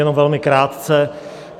Jenom velmi krátce.